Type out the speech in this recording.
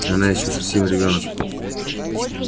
она ещё совсем ребёнок